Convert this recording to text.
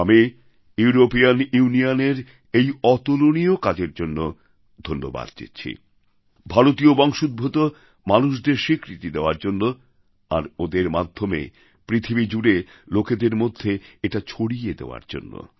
আমি ইউরোপীয়ান ইউনিয়নের এই অতুলনীয় কাজের জন্য ধন্যবাদ দিচ্ছি ভারতীয় বংশোদ্ভূত মানুষদের স্বীকৃতি দেওয়ার জন্য আর ওঁদের মাধ্যমে পৃথিবী জুড়ে লোকেদের মধ্যে এটা ছড়িয়ে দেওয়ার জন্য